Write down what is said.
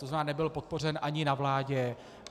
To znamená, nebyl podpořen ani na vládě.